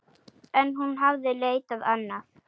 En hún hafði leitað annað.